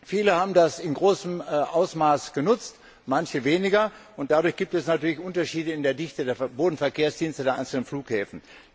Viele haben das in großem Ausmaß genutzt, manche weniger, und dadurch gibt es natürlich Unterschiede in der Dichte der Bodenverkehrsdienste der einzelnen Flughäfen.